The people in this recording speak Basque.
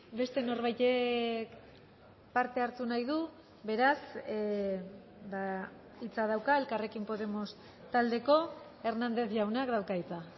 beste norbaitek parte hartu nahi du beraz hitza dauka elkarrekin podemos taldeko hernández jaunak dauka hitza